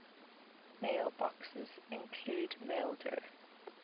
mailboxes include maildir